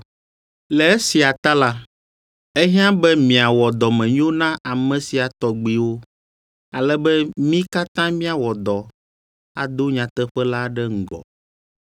Le esia ta la, ehiã be miawɔ dɔmenyo na ame sia tɔgbiwo, ale be mí katã míawɔ dɔ ado nyateƒe la ɖe ŋgɔ.